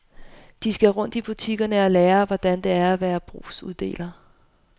De skal rundt i butikker og lære, hvordan det er at være brugsuddeler.